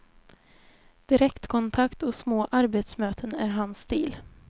Direktkontakt och små arbetsmöten är hans stil.